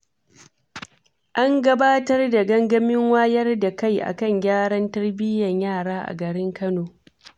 An gabatar da gangamin wayar da kai akan gyaran tarbiyyar yara, a garin Kano.